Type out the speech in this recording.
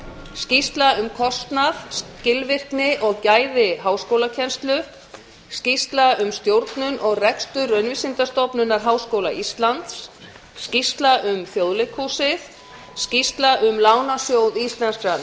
skýrsla um kostnað skilvirkni og gæði háskólakennslu önnur skýrsla um stjórnun og rekstur auglýsingastofnunar háskóla íslands þriðja skýrsla um þjóðleikhúsið fjórða skýrsla um lánasjóð íslenskra